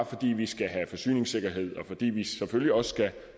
fordi vi skal have forsyningssikkerhed og fordi vi selvfølgelig også skal